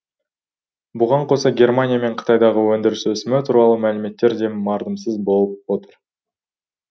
бұған қоса германия мен қытайдағы өндіріс өсімі туралы мәліметтер де мардымсыз болып отыр